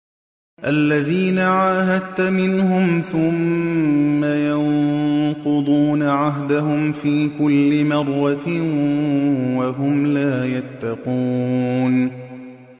الَّذِينَ عَاهَدتَّ مِنْهُمْ ثُمَّ يَنقُضُونَ عَهْدَهُمْ فِي كُلِّ مَرَّةٍ وَهُمْ لَا يَتَّقُونَ